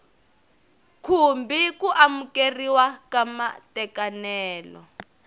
khumbi ku amukeriwa ka matekanelo